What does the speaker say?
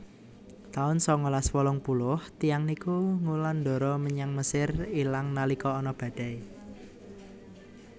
taun sangalas wolung puluh tiyang niku ngulandara menyang Mesir ilang nalika ana badai